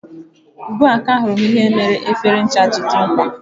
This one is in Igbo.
Ugbu a, ka ahụrụ m ihe mere efere ncha ji dị mkpa